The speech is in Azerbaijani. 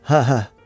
Hə, hə.